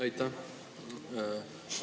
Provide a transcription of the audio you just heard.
Aitäh!